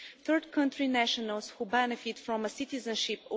Third country nationals who benefit from a citizenship